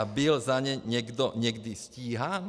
A byl za ně někdo někdy stíhán?